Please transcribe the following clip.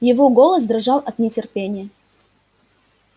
его голос дрожал от нетерпения